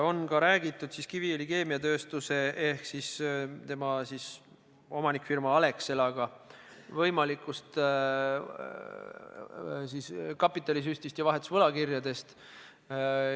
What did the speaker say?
On ka räägitud Kiviõli Keemiatööstusega ehk siis tema omanikfirma Alexelaga võimalikust kapitalisüstist ja vahetusvõlakirjadest.